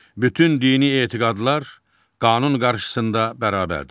Bütün dini etiqadlar qanun qarşısında bərabərdir.